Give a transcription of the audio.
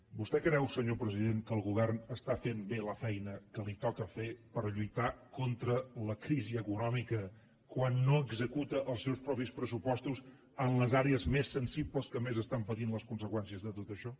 vostè creu senyor president que el govern està fent bé la feina que li toca fer per lluitar contra la crisi econò·mica quan no executa els seus propis pressupostos en les àrees més sensibles que més estan patint les conse·qüències de tot això